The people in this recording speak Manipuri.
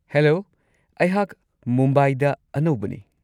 ꯍꯦꯂꯣ, ꯑꯩꯍꯥꯛ ꯃꯨꯝꯕꯥꯏꯗ ꯑꯅꯧꯕꯅꯤ ꯫